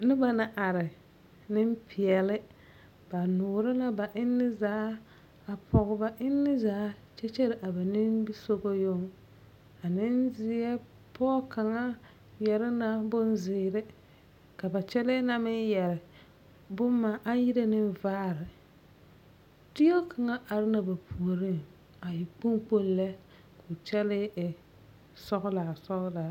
Noba la are, nemopeɛle. Ba noore la ba enne zaa a pɔge ba enne zaa kyɛ kyɛre a ba nimisogɔ yoŋ. A nenzeɛ pɔge kaŋa yɛre na bonzeere ka ba kyɛlɛɛ na meŋ yɛre bomma aŋ yire neŋ vaare. Teɛ kaŋa are na ba puoriŋ a e kpoŋ kpoŋ lɛ, ko kyɛlee e sɔglaa sɔglaa.